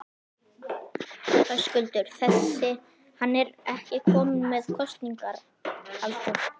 Höskuldur: Þessi, hann er ekki kominn með kosningaaldur?